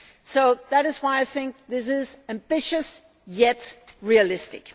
So that is why I think this is ambitious, yet realistic.